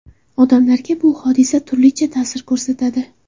Odamlarga bu hodisa turlicha ta’sir ko‘rsatadi.